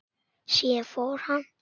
Síðan fór hann.